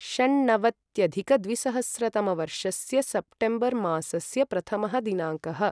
षण्णवत्यधिकद्विसहस्रतमवर्षस्य September मासस्य प्रथमः दिनाङ्कः